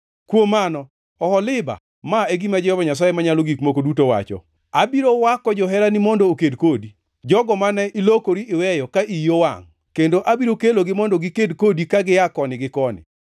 “Kuom mano, Oholiba, ma e gima Jehova Nyasaye Manyalo Gik Moko Duto wacho: Abiro wako joherani mondo oked kodi, jogo mane ilokori iweyo ka iyi owangʼ, kendo abiro kelogi mondo giked kodi ka gia koni gi koni;